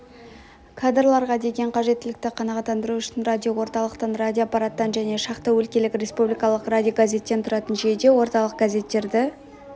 кадрларға деген қажеттілікті қанағаттандыру үшін радиоорталықтан радиотораптан және шақты өлкелік республикалық радиогазеттен тұратын жүйеде орталық газеттерді